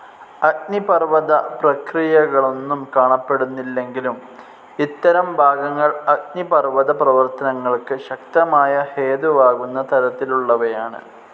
അഗ്നിപർവ്വത പ്രക്രിയകളൊന്നും കാണപ്പെടുന്നില്ലെങ്കിലും ഇത്തരം ഭാഗങ്ങൾ അഗ്നിപർവ്വത പ്രവർത്തനങ്ങൾക്ക് ശക്തമായ ഹേതുവാകുന്ന തരത്തിലുള്ളവയാണ്‌.